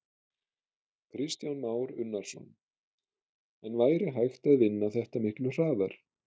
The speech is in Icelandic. Kristján Már Unnarsson: En væri hægt að vinna þetta miklu hraðar?